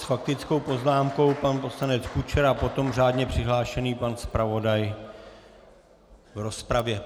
S faktickou poznámkou pan poslanec Kučera, potom řádně přihlášený pan zpravodaj v rozpravě.